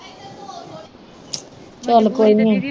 ਚਲ ਕੋਈ ਨੀ